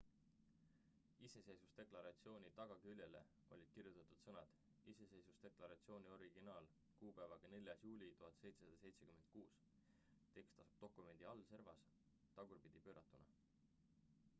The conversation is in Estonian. "iseseisvusdeklaratsiooni tagaküljele olid kirjutatud sõnad "iseseisvusdeklaratsiooni originaal kuupäevaga 4. juuli 1776"". tekst asub dokumendi alaservas tagurpidi pööratuna.